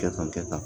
Kɛ ka kɛ tan